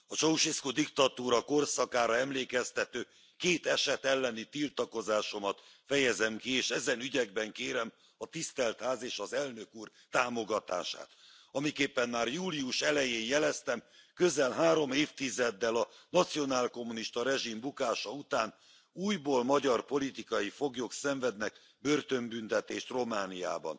A Ceausescu diktatúra korszakára emlékeztető két eset elleni tiltakozásomat fejezem ki, és ezen ügyekben kérem a Tisztelt Ház és az Elnök Úr támogatását. Amiképpen már július elején jeleztem közel három évtizeddel a nacionálkommunista rezsim bukása után újból magyar politikai foglyok szenvednek börtönbüntetést Romániában.